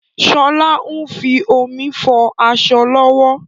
Sọlá ń fi omi fọ aṣọ lọ́wọ́